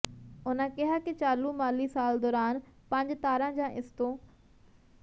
ਉਨ੍ਹਾਂ ਕਿਹਾ ਕਿ ਚਾਲੂ ਮਾਲੀ ਸਾਲ ਦੌਰਾਨ ਪੰਜ ਤਾਰਾ ਜਾਂ ਇਸ ਤੋਂ